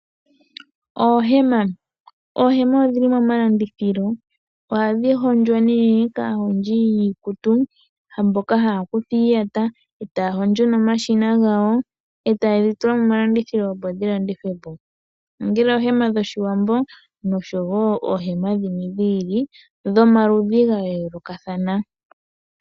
Oohema odhili momalandithilo ohadhi hondjwa nee kaahondji yiikutu mboka futu iiyata eeta hondjo nomashina gawo eta yi tula momalandithilo opo dhilandithwe po ongele oohema dhOshiwambo noshowo oohema dhimwe dhi ili dhomaludhi ga yoolokathana .